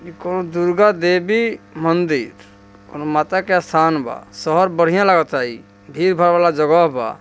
ई को दुरगा देवी मंदिर और माता का सानवा सहर बढ़िया लागत है भीड़ भाड़ वाला जहाज बा।